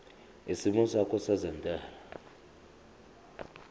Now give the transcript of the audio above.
isimo sakho sezentela